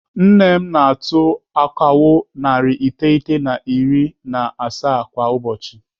Nne m na-atụ akawo narị iteghete na iri na asaa kwa ụbọchị.